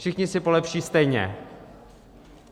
Všichni si polepší stejně.